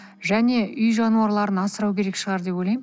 және уй жануарларын асырау керек шығар деп ойлаймын